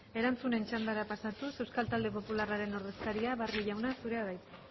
erantzunen txandara pasatuz euskal talde popularraren ordezkaria barrio jauna zurea da hitza